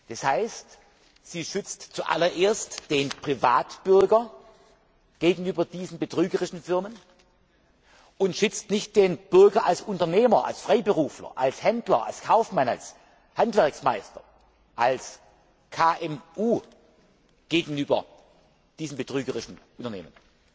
Das heißt, sie schützt zuallererst den Privatbürger vor diesen betrügerischen Firmen und schützt nicht den Bürger als Unternehmer, als Freiberufler, als Händler, als Kaufmann, als Handwerksmeister, als KMU vor diesen betrügerischen Unternehmen.